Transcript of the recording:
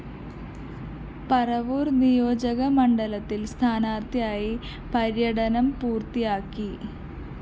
പറവൂര്‍ നിയോജകമണ്ഡലത്തില്‍ സ്ഥാനാര്‍ത്ഥി പര്യടനം പൂര്‍ത്തിയാക്കി